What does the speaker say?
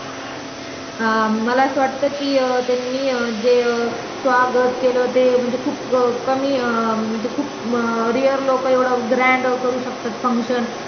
अं मला असं वाट कि अं त्यांनी जे अं स्वागत केलं ते अं म्हणजे खुप कमी अं खुप rear लोक एवढं grand करू शकतात fuction